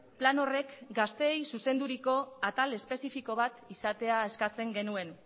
plan horrek gazteei zuzenduriko atal espezifiko bat izatea eskatzen genuen